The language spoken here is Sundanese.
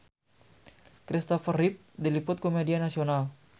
Kristopher Reeve diliput ku media nasional